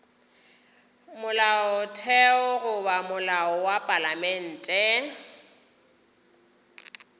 molaotheo goba molao wa palamente